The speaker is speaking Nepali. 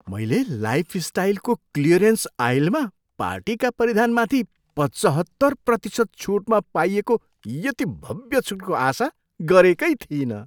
मैले लाइफस्टाइलको क्लियरेन्स आइलमा पार्टीका परिधानमाथि पचहत्तर प्रतिशत छुटमा पाइएको यति भव्य छुटको आशा गरेकै थिइनँ।